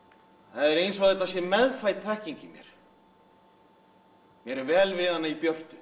það er eins og þetta sé meðfædd þekking í mér mér er vel við hana í björtu